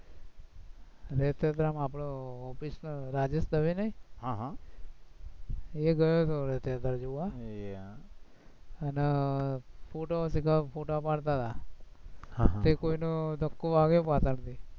આપણી office રાજન દવે નઈ, એ અને ફોટો, ફોટા પડતા તા, તે કોઈનો ધક્કો વાગ્યો પાછળથી